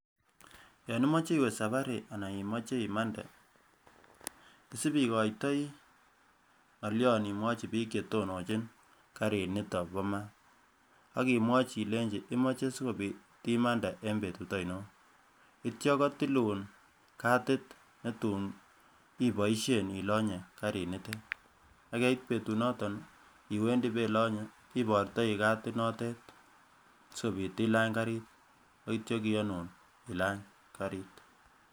Yon imoche iwee safari anan imoche imande, isip ikoitoi ngolion imwochi bik chetononchi karit niton bo maat, ak imwochi ilenji imoche sikobit imande en betut oinon, ityto kotilun katit netun iboishen ilonyee karit nitet. Yekait betu noton iwendii belonye ibortoi katit notet sikobit ilany karir ak ityo kiyonun ilany karit.